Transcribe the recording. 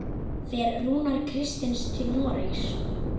Fer Rúnar Kristins til Noregs?